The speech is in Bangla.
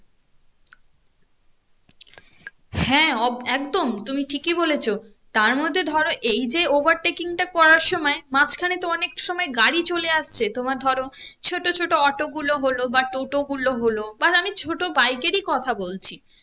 হ্যাঁ অব একদম তুমি ঠিকই বলেছো তার মধ্যে ধরো এই যে overtaking টা করার সময় মাঝখানে তো অনেক সময় গাড়ি চলে আসছে তোমার ধরো ছোটো ছোটো অটো গুলো হলো বা টোটো গুলো হলো বা আমি ছোটো bike এরই কথা বলছি